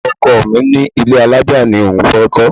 Ọkọ mi ní ilé alájà ni òun fẹ́ kọ́.